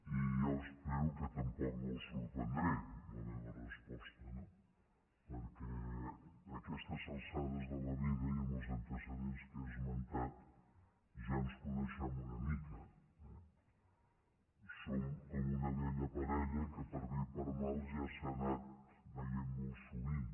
i jo espero que tampoc no el sorprendré amb la meva resposta no perquè a aquestes alçades de la vida i amb els antecedents que he esmentat ja ens coneixem una mica eh som com una vella parella que per bé i per mal ja s’ha anat veient molt sovint